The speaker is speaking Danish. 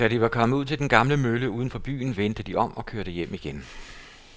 Da de var kommet ud til den gamle mølle uden for byen, vendte de om og kørte hjem igen.